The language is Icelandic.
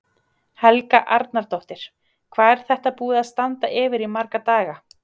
Helga Arnardóttir: Hvað er þetta búið að standa yfir í marga daga?